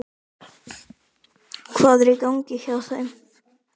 Hvað er í gangi hjá þeim?